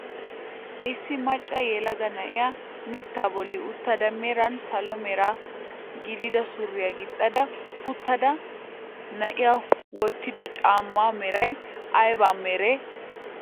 Issi macca yelaga na'iyaa mittaa bolli uttada meran salo mera gidida suriyaa gixxada uttida na'iyaa wottido caammaa meray ayba meree?